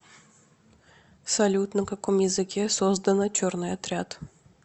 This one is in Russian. салют на каком языке создано черный отряд